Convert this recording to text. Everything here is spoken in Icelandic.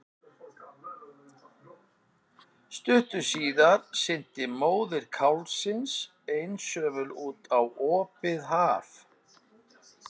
Stuttu síðar synti móðir kálfsins einsömul út á opið haf.